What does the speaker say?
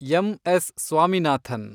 MS. Swaminathan